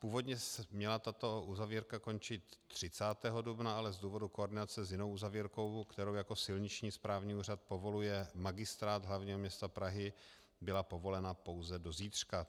Původně měla tato uzavírka končit 30. dubna, ale z důvodu koordinace s jinou uzavírkou, kterou jako silniční správní úřad povoluje Magistrát hlavního města Prahy, byla povolena pouze do zítřka.